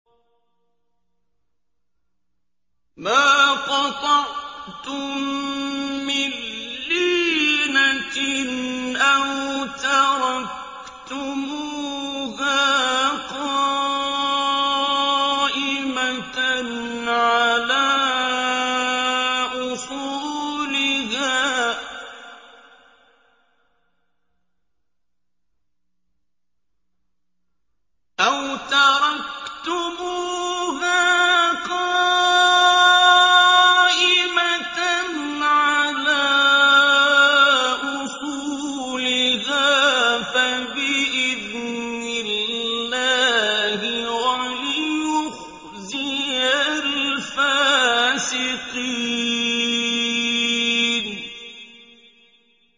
مَا قَطَعْتُم مِّن لِّينَةٍ أَوْ تَرَكْتُمُوهَا قَائِمَةً عَلَىٰ أُصُولِهَا فَبِإِذْنِ اللَّهِ وَلِيُخْزِيَ الْفَاسِقِينَ